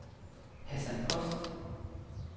Hasan Post